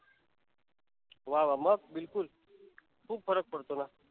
वा वा. मग बिलकुल, खुप फरक पडतो ना.